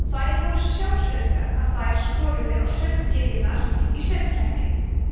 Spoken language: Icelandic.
þær voru svo sjálfsöruggar að þær skoruðu á sönggyðjurnar í söngkeppni